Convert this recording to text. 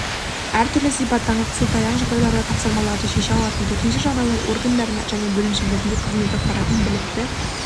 әртүрлі сипаттағы қисылтаяң жағдайларда тапсырмаларды шеше алатын төтенше жағдайлар органдарында және бөлімшелерінде қызмет атқаратын білікті